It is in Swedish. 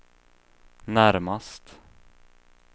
närmast